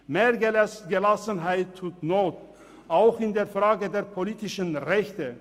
Mehr Gelassenheit tut not, auch in der Frage der politischen Rechte.